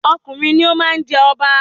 Ọkùnrin ni o máa n je ọba